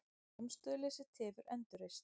Samstöðuleysi tefur endurreisn